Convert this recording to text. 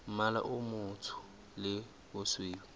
mmala o motsho le bosweu